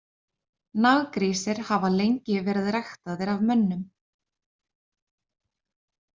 Naggrísir hafa lengi verið ræktaðir af mönnum.